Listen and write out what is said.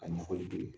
Ka ɲɛfɔli kɛ